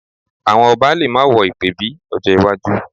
Àwọn ọba lè má wọ ìpèbí mọ́ lọ́jọ́ iwájú